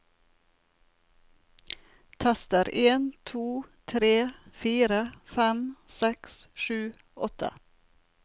Tester en to tre fire fem seks sju åtte